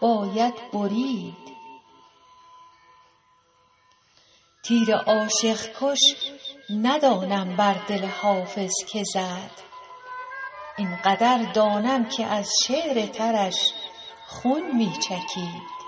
باید برید تیر عاشق کش ندانم بر دل حافظ که زد این قدر دانم که از شعر ترش خون می چکید